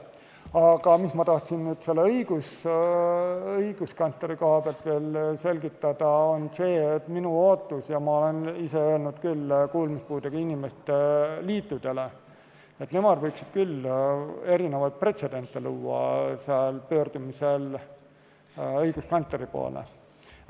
Aga ma tahtsin õiguskantsleri koha pealt veel selgitada, et minu ootus on see ja ma olen seda ise öelnud kuulmispuudega inimeste liitudele, et nemad võiksid küll erinevaid pretsedente luua, pöördudes õiguskantsleri poole.